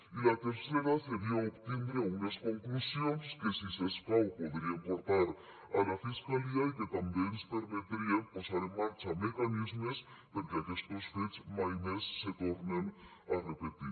i la tercera seria obtindre unes conclusions que si s’escau podríem portar a la fiscalia i que també ens permetrien posar en marxa mecanismes perquè aquestos fets mai més se tornen a repetir